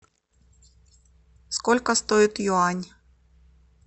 сколько стоит юань